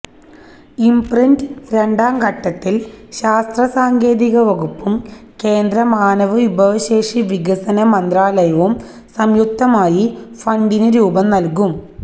imprint രണ്ടാം ഘട്ടത്തില് ശാസ്ത്ര സാങ്കേതിക വകുപ്പും കേന്ദ്ര മാനവവിഭവശേഷി വികസന മന്ത്രാലയവും സംയുക്തമായി ഫണ്ടിന് രൂപം നല്കും